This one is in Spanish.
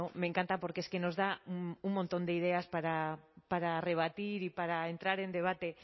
me encanta porque es que nos da un montón de ideas para rebatir y para entrar en debate